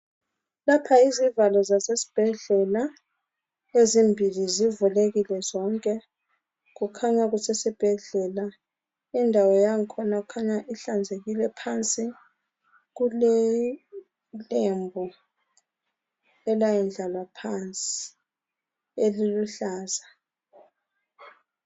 Lapha izivalo zesibhedlela ezimbili zivulekile zonke kukhanya kusesibhedlela indawo yakhona ikhanya ihlanzekile phansi kulelembu elayendlalwa phansi eliluhlaza